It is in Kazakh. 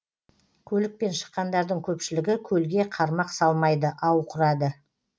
көлікпен шыққандардың көпшілігі көлге қармақ салмайды ау құрады